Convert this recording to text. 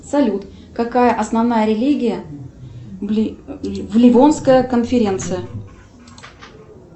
салют какая основная религия в ливонская конференция